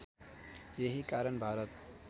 यही कारण भारत